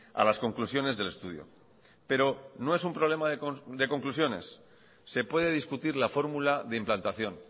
a las conclusiones del estudio pero no es un problema de conclusiones se puede discutir la fórmula de implantación